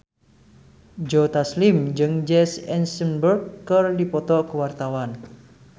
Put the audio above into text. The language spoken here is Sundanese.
Joe Taslim jeung Jesse Eisenberg keur dipoto ku wartawan